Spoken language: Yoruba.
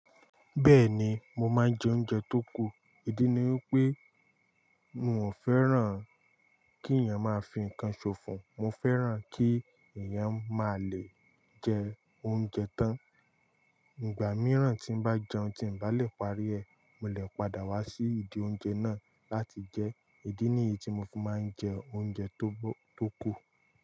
Bẹ́ẹ̀ni, mo máa ń jẹ oúnjẹ tó kù. Idi ni wípé mi ò fẹ́ràn kí ẹ̀yàn máa fi ǹkan ṣòfò, mo fẹ́ràn kí ẹ̀yàn máa le jẹ oúnjẹ tán. Ìgbà mìíràn tí mo bá jẹun tí n bá lè parí ẹ, mo lè padà wá sí ìdí oúnjẹ náà láti jẹ. Ìdí nìyí tí mo fi máa ń jẹ oúnjẹ tó bó-- tó kù.